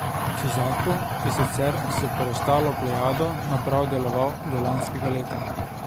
Suzaku je sicer s preostalo plejado naprav deloval do lanskega leta.